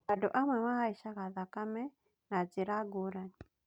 Andũ amwe mahaicaga thakame na njira ngũrani